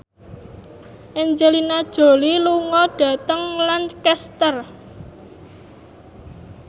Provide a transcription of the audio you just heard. Angelina Jolie lunga dhateng Lancaster